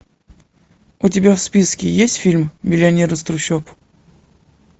у тебя в списке есть фильм миллионер из трущоб